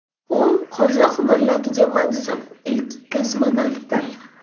U qozoq millatiga mansub ilk kosmonavtdir.